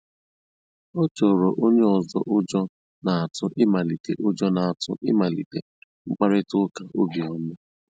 Ọ́ chọ́ọ́rọ́ ónyé ọ́zọ́ ụ́jọ́ n'átụ̀ ị̀màlíté ụ́jọ́ n'átụ̀ ị̀màlíté mkpàrị́tà ụ́ká óbíọ́mà.